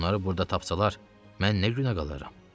Onları burada tapsalar, mən nə günə qalaram?